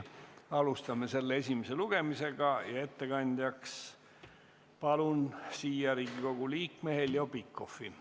Alustame selle esimest lugemist ja ettekandjaks palun siia Riigikogu liikme Heljo Pikhofi.